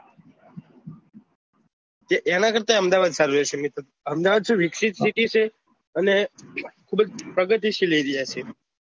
એના કરતા અહેમદાબાદ સારું રેહશે મિત્ર અહેમદાબાદ શું વિકસિત city છે અને ખુબજ પ્રગતિ શીલ area છે.